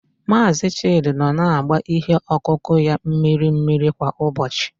Mazị Chidi nọ na-agba ihe ọkụkụ ya mmiri mmiri kwa ụbọchị.